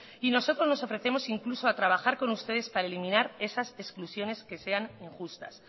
y nosotros nos ofrecemos incluso a trabajar con ustedes para eliminar esas exclusiones que sean injustas